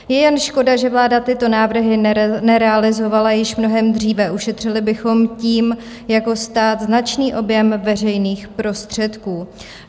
Je jen škoda, že vláda tyto návrhy nerealizovala již mnohem dříve, ušetřili bychom tím jako stát značný objem veřejných prostředků.